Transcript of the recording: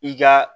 I ka